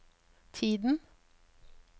tiden